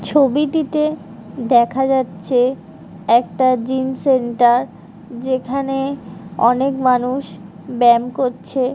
ছবিটিতে দেখা যাচ্ছে একটা জিম সেন্টার যেখানে অনেক মানুষ ব্যায়াম করছে |